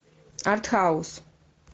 артхаус